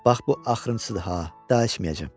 Bax bu axırıncısır ha, daha içməyəcəm.